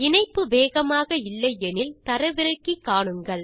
இணைப்பு வேகமாக இல்லை எனில் தரவிறக்கி காணுங்கள்